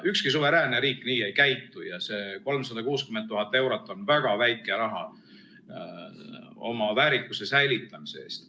Ükski suveräänne riik nii ei käitu ja see 360 000 eurot on väga väike raha oma väärikuse säilitamise eest.